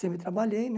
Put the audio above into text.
Sempre trabalhei, né?